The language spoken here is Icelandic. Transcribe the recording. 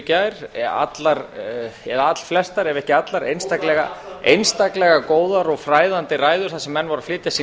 gær allflestar ef ekki allar einstaklega góðar og fræðandi ræður þar sem menn voru að flytja sín